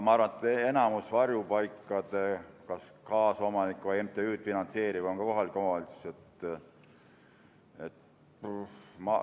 Ma arvan, et enamiku varjupaikade kaasomanik või MTÜ-de finantseerija on ka kohalik omavalitsus.